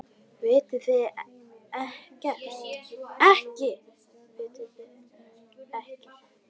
Vitið þið þetta ekki?